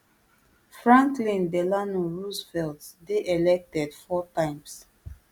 franklin delano roosevelt dey elected four times